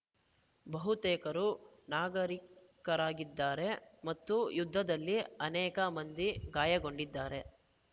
ಬಹುತೇಕರು ನಾಗರಿಕರಾಗಿದ್ದಾರೆ ಮತ್ತು ಯುದ್ಧದಲ್ಲಿ ಅನೇಕ ಮಂದಿ ಗಾಯಗೊಂಡಿದ್ದಾರೆ